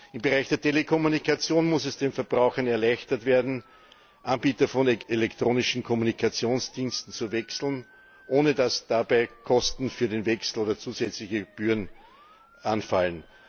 Im Bereich der Telekommunikation muss es den Verbrauchern erleichtert werden, Anbieter von elektronischen Kommunikationsdiensten zu wechseln, ohne dass dabei Kosten für den Wechsel oder zusätzliche Gebühren anfallen.